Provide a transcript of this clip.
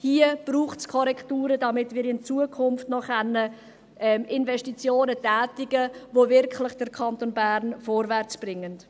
Hier braucht es Korrekturen, damit wir in Zukunft noch Investitionen tätigen können, die den Kanton Bern wirklich vorwärtsbringen.